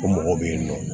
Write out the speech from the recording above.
O mɔgɔ bɛ yen nɔ